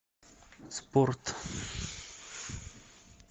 спорт